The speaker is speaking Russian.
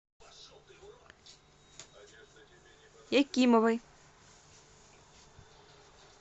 якимовой